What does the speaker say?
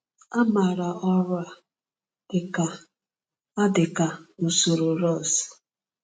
A maara ọrụ a dị ka a dị ka usoro Ross.